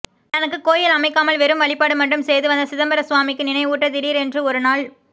தனக்கு கோயில் அமைக்காமல் வெறும் வழிபாடு மட்டும் செய்து வந்த சிதம்பர சுவாமிக்கு நினைவூட்ட திடீரென்று ஒரு நாள்